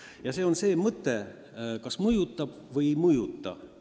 Ja nüüd ma ütlen oma arvamuse, kas seadus mõjutab oste või ei mõjuta.